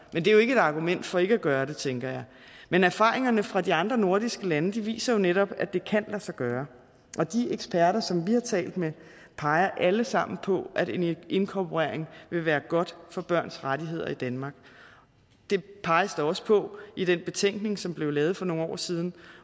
men det er jo ikke et argument for ikke at gøre det tænker jeg men erfaringerne fra de andre nordiske lande viser jo netop at det kan lade sig gøre og de eksperter som vi har talt med peger alle sammen på at en inkorporering vil være godt for børns rettigheder i danmark det peges der også på i den betænkning som blev lavet for nogle år siden